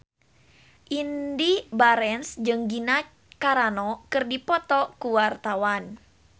Indy Barens jeung Gina Carano keur dipoto ku wartawan